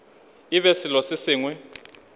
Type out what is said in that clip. e be selo se sengwe